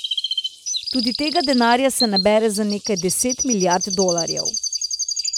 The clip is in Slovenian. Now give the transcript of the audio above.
Tudi tega denarja se nabere za nekaj deset milijard dolarjev.